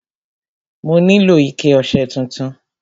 Mo nílò ike ọṣẹ tuntun.